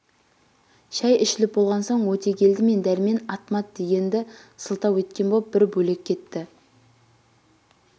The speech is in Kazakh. шай ішіліп болған соң өтегелді мен дәрмен ат-мат дегенді сылтау еткен боп бір бөлек кетті